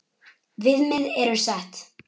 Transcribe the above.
Viðmið eru sett.